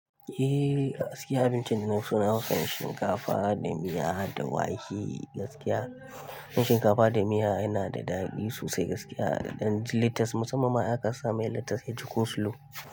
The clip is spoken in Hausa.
Eh gaskiya abincin da na so nafison shinkafa da miya da wake gaskiya. Dan shinkafa da miya yana da daɗi sosai gaskiya, a ƙadan littas musamman ma in kasame littas ya ciko slow.